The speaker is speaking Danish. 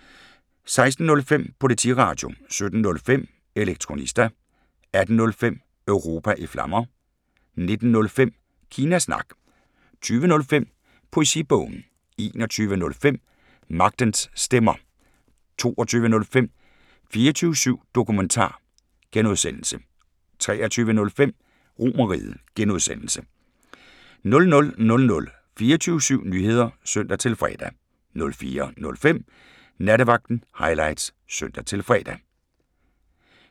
16:05: Politiradio 17:05: Elektronista 18:05: Europa i Flammer 19:05: Kina Snak 20:05: Poesibogen 21:05: Magtens Stemmer 22:05: 24syv Dokumentar (G) 23:05: RomerRiget (G) 00:00: 24syv Nyheder (søn-fre) 04:05: Nattevagten Highlights (søn-fre)